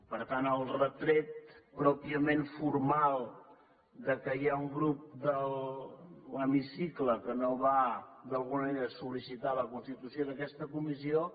per tant el retret pròpiament formal que hi ha un grup de l’hemicicle que no va d’alguna manera sol·licitar la constitució d’aquesta comissió